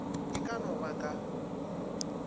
e ka no ba ka